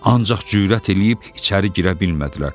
Ancaq cürət eləyib içəri girə bilmədilər.